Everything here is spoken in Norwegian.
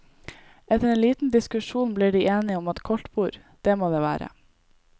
Etter en liten diskusjon blir de enige om at koldtbord, det må det være.